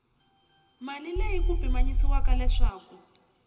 mali leyi ku pimanyisiwaka leswaku